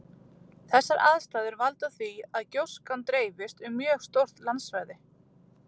Þessar aðstæður valda því að gjóskan dreifist um mjög stórt landsvæði.